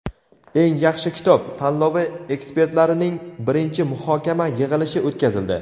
"Eng yaxshi kitob" tanlovi ekspertlarining birinchi muhokama yig‘ilishi o‘tkazildi.